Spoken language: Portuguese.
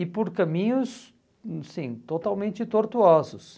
E por caminhos, hum, sim, totalmente tortuosos.